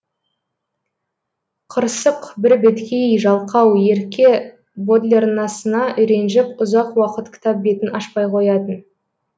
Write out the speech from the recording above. қырсық бірбеткей жалқау ерке бодлеранасына ренжіп ұзақ уақыт кітап бетін ашпай қоятын